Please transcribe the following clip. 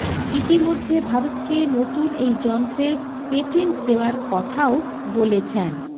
ইতিমধ্যে ভারতকে নতুন এই যন্ত্রের পেটেন্ট দেওয়ার কথাও বলেছেন